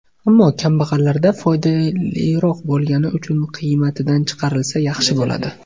Ammo kambag‘allarga foydaliroq bo‘lgani uchun qiymatidan chiqarilsa, yaxshi bo‘ladi.